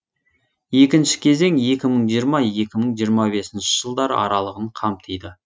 екінші кезең екі мың жиырма екі мың жиырма бесінші жылдар аралығын қамтиды